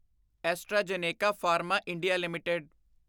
AstraZeneca pharma India LTD